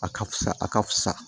A ka fisa a ka fisa